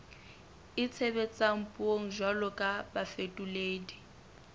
itshebetsang puong jwalo ka bafetoledi